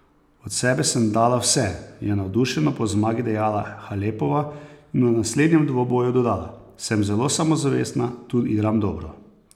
Od sebe sem dala vse,' je navdušeno po zmagi dejala Halepova in o naslednjem dvoboju dodala: 'Sem zelo samozavestna, tu igram dobro.